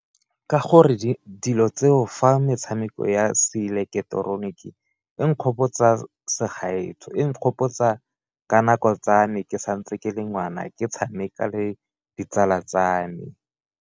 Ka gore dilo tseo fa metshameko ya Se ileketeroniki e nkgopotsa segaetsho, e nkgopotsa ka nako tsa me ke santse ke le ngwana ke tshameka le ditsala tsa me.